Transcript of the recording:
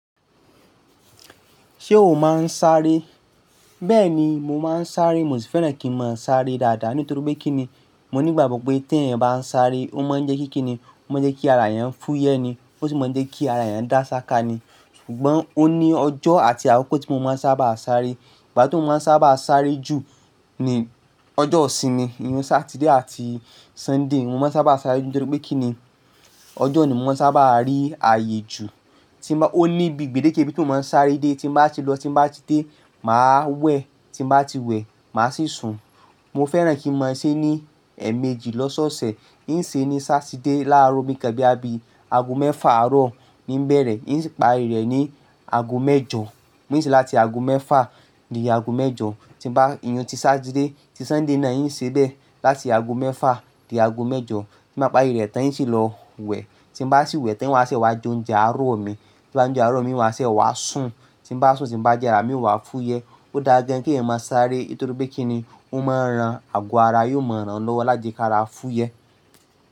Ṣé o máa ń sáré? Bẹ́ẹ̀ni, mo máa ń sáré. Mo sì fẹ́ràn kí n máa ń sáré dáadáa. Nítorí pé kí ni? Mo ní ìgbàgbọ́ pé tẹ̀yan bá ń sáré, ó máa ń jẹ́ kí kí ni? Ó máa ń jẹ́ kí ara ẹ́yàn fúyẹ́ ni, ó sì máa ń jẹ́ kí ara ẹ́yàn dá ṣáka ni. Ṣùgbọ́n ó ní ọjọ́ àti àkókò tí mo máa ń sábà sáré. Ìgbà toun máa ń sábà sáré jù ni ọjọ́ ìsinmi, ni Saturday àti Sunday. Mo máa ń sábà sáré jù nítorí pé kí ni? Ọjọ́ ni mo máa ń sábà rí ààyè jù. Tí bá, ó ní ibi gbedeke ibi toun mo máa ń sáré dé. Tí bá ti lọ, tí bá ti dé, màá wẹ̀, tí bá ti wẹ̀, màá sì sùn. Mo fẹ́ràn kí n máa ń se ní ẹ̀ẹ̀mejì lọ́sọ̀ọ̀sẹ̀. Ń se ní Saturday láàárọ̀ bíi kan boya bíi àbí ago mẹ́fà àárọ̀ ni ń bẹ̀rẹ̀. Ń si parí rẹ̀ ní ago mẹ́jọ. Ń sì láti ago mẹ́fà di ago mẹ́jọ. Tí bá iyen ti Saturday ti Sunday náà, ń ṣe bẹ́ẹ̀. Láti ago mẹ́fà dé ago mẹ́jọ. Tí bá parí rẹ̀ tẹ́ ń sì lọ wẹ̀, tí bá sì wẹ̀ tẹ́ ń wá ṣe wá jo nje àárọ̀ mi. Tí bá jo nje àárọ̀ mi, n wá ṣe wá sùn. Tí bá sùn, tí bá ji ara mi o wá fúyẹ́. Ó dáa gan kí èèyàn má sáré. Nítorí pé kí ni? Ó máa ń ran àgọ́ ara, yóò máa ń ràn lọ́wọ́ láti ká ra fúyẹ́.